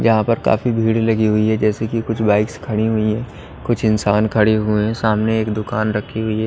यहां पर काफी भीड़ लगी हुई है जैसे कि कुछ बाइक्स खड़ी हुई हैं कुछ इंसान खड़े हुए हैं सामने एक दुकान रखी हुई--